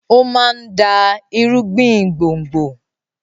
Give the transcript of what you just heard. ó máa ń dá irúgbìn gbòngbò.